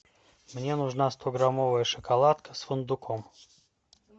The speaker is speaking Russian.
мне нужна стограммовая шоколадка с фундуком